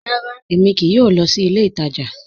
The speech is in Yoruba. Ràrá, èmi kìí yóò lọ sí ilẹ̀ ìtaja